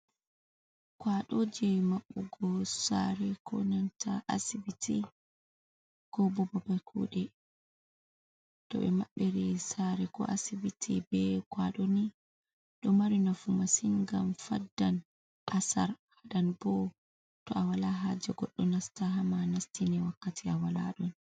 Kwaɗoje maɓɓugo sare ko nanta asibiti ko bo babal kuɗe. To be mabbiri sare ko asibiti be kwaɗo ni ,ɗo mari nafu masin gam faddan asar. Den bo to a wala haje goɗɗo nasta ha'ma nastine wakkati a walaɗon.